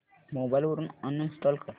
mobile वरून uninstall कर